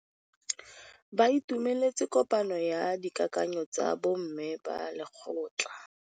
Ba itumeletse kôpanyo ya dikakanyô tsa bo mme ba lekgotla.